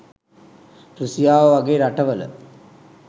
රුසියාව වගේ රටවල..